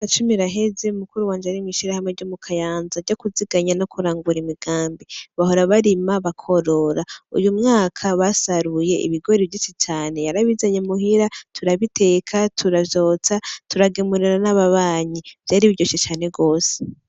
Imyaka cumi iraheze mukuru wanje ari mwishirahamwe ryo mukayanza ryo kuziganya no kurangura imigambi, bahora barima bakworora . Uyu mwaka basaruye ibigori vyinshi cane yarabizanye muhira turabiteka, turavyotsa , turagemirira n’ababanyi vyari biryoshe cane gose.